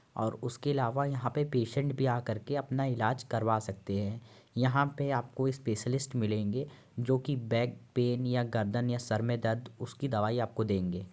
और उसके अलावा यहाँ पे पेशेंट भी आ करके अपना इलाज करवा सकते हैं। यहाँ पे आपको स्पेशलिस्ट मिलेंगे जोकि बैक पेन या गर्दन या सर में दर्द उसकी दवाई आपको देंगे।